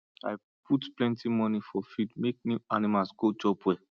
i put plenty money for feed make new animals go chop well